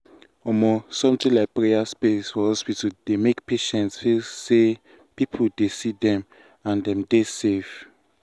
um something like prayer um space for hospital dey make patients feel say people see them and dem dey safe.